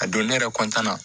A don ne yɛrɛ na